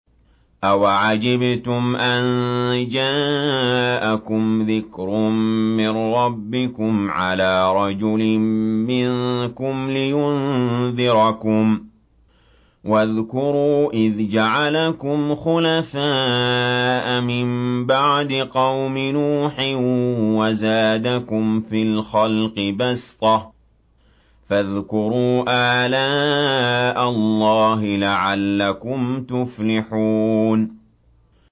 أَوَعَجِبْتُمْ أَن جَاءَكُمْ ذِكْرٌ مِّن رَّبِّكُمْ عَلَىٰ رَجُلٍ مِّنكُمْ لِيُنذِرَكُمْ ۚ وَاذْكُرُوا إِذْ جَعَلَكُمْ خُلَفَاءَ مِن بَعْدِ قَوْمِ نُوحٍ وَزَادَكُمْ فِي الْخَلْقِ بَسْطَةً ۖ فَاذْكُرُوا آلَاءَ اللَّهِ لَعَلَّكُمْ تُفْلِحُونَ